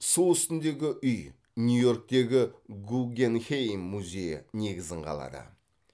су үстіндегі үй нью йорктегі гуггенхейм музейі негізін қалады